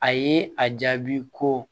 A ye a jaabi ko